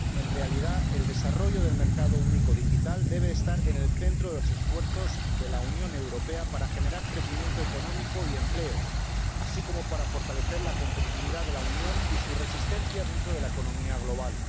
En realidad, el desarrollo del mercado único digital debe estar en el centro de los esfuerzos de la Unión Europea para generar crecimiento económico y empleo, así como para fortalecer la competitividad de la Unión y su resistencia dentro de la economía global.